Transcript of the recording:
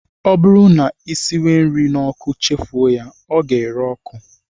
Ọ bụrụ na ị siwe nri n'ọkụ chefuo ya, ọ ga-ere ọkụ